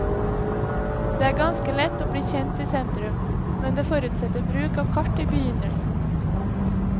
Det er ganske lett å bli kjent i sentrum, men det forutsetter bruk av kart i begynnelsen.